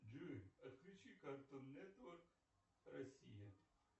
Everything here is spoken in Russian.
джой отключи картун нетворк россия